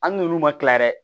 Hali n'olu ma kila yɛrɛ